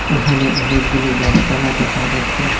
এখানে অনেকগুলো গাসপালা দেখা যাচ্ছে।